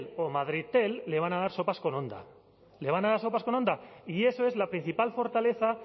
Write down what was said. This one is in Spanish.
o madridtel le van a dar sopas con honda le van a dar sopas con honda y eso es la principal fortaleza